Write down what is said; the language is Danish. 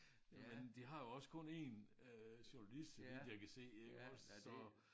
Nåh men de har jo også kun én øh journalist så vidt jeg kan se iggås så